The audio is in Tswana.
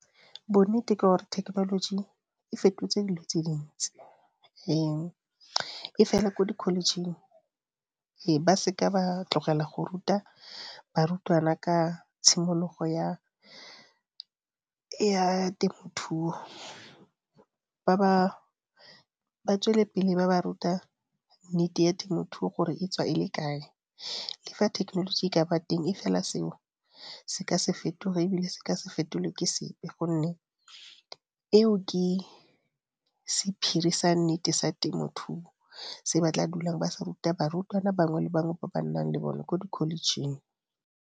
Bonnete ke gore thekenoloji e fetotse dilo tse dintsi, e fela ko di-college-eng ba se ka ba tlogela go ruta barutwana ka tshimologo ya temothuo ba tswele pele ba ba ruta nnete ya temothuo gore e tswa e le kae, le fa technology ka ba teng e fela seo se ka se fetoge e bile se ke se fetolwe ke sepe, gonne eo ke sephiri sa nnete sa temothuo se ba tla dulang ba sa ruta barutwana bangwe le bangwe ba ba nnang le bone ko di-college-ing.